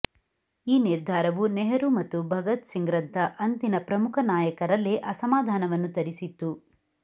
ಈ ನಿರ್ಧಾರವು ನೆಹರೂ ಮತ್ತು ಭಗತ್ ಸಿಂಗ್ರಂಥ ಅಂದಿನ ಪ್ರಮುಖ ನಾಯಕರಲ್ಲೇ ಅಸಮಾಧಾನವನ್ನು ತರಿಸಿತ್ತು